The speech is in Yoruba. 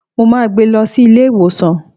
Mo máa gbé lọ sí ilé ìwòsàn.